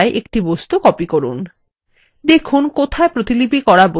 প্রথম পাতা থেকে দ্বিতীয় পাতাতে একটি বস্তু copy করুন